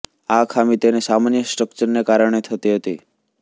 આ ખામી તેના સામાન્ય સ્ટ્ક્ચરને કારણે થતી હતી